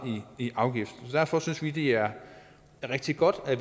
i afgift derfor synes vi det er rigtig godt at